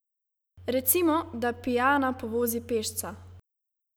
Recimo, da pijana povozi pešca!